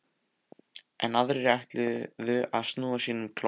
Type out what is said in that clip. Enn aðrir ætluðu að snúa sínum klofna